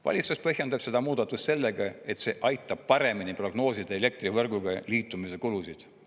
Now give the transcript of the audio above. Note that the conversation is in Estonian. Valitsus põhjendab seda muudatust sellega, et see aitab paremini prognoosida elektrivõrguga liitumise kulusid.